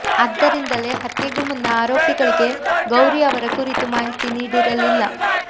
ಅದ್ದರಿಂದಲೇ ಹತ್ಯೆಗೂ ಮುನ್ನ ಆರೋಪಿಗಳಿಗೆ ಗೌರಿ ಅವರ ಕುರಿತು ಮಾಹಿತಿ ನೀಡಿರಲಿಲ್ಲ